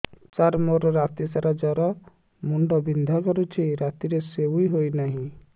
ସାର ମୋର ରାତି ସାରା ଜ୍ଵର ମୁଣ୍ଡ ବିନ୍ଧା କରୁଛି ରାତିରେ ଶୋଇ ହେଉ ନାହିଁ